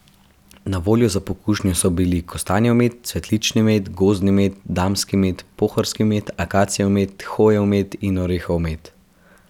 Na voljo za pokušnjo so bili kostanjev med, cvetlični med, gozdni med, damski med, pohorski med, akacijev med, hojev med in orehov med.